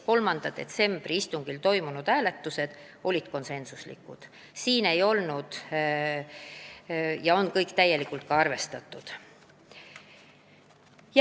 3. detsembri istungil toimunud hääletused olid konsensuslikud, kõik ettepanekud said täielikult arvestatud.